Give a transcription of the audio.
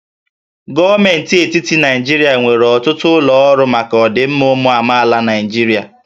Gọọmenti etiti Naijiria nwere ọtụtụ ụlọ ọrụ maka ọdịmma ụmụ amaala Naịjirịa